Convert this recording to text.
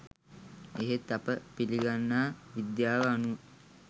එහෙත් අප පිළිගන්නා විද්‍යාව අනුව